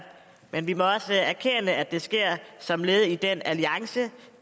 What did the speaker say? men vi må også erkende at det sker som led i den alliance